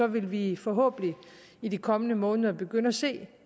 vil vi forhåbentlig i de kommende måneder begynde at se